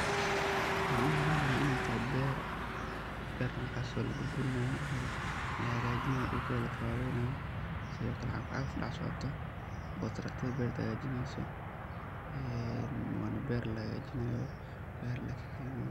Waxa umaleynaya iney toho ber, bertaso laburburnayo ama lahagajinayo dhulkeda lakawaweynayo sidho kale qagafqagaf dhex socoto oo taraktadha berta ey hagajineyso een wana ber lahajinayo.